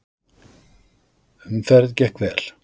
Umferð gekk vel.